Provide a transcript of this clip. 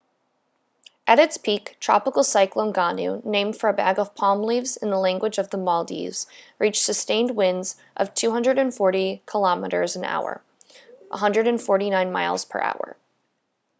at its peak tropical cyclone gonu named for a bag of palm leaves in the language of the maldives reached sustained winds of 240 kilometers an hour 149 miles per hour